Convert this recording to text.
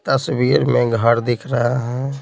तस्वीर में घर दिख रहा है।